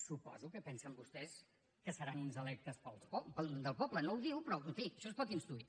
suposo que pensen vostès que seran uns electes del poble no ho diu però en fi això es pot intuir